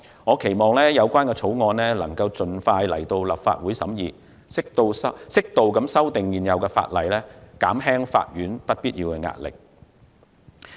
我期望有關法案能盡快提交立法會審議，適度修訂現有法例，減輕法院不必要的壓力。